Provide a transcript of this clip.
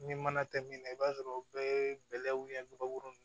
Ni mana tɛ min na i b'a sɔrɔ o bɛɛ ye bɛlɛw ye kabakuru